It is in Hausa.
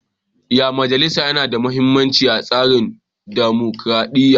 Ƴan majalisa na da muhimmanci a tsarin dumukuradiyya.